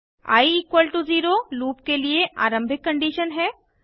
आई 0 loop के लिए आरंभिक कंडीशन है